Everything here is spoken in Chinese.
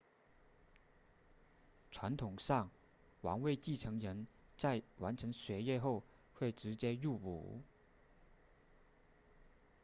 传统上王位继承人在完成学业后会直接入伍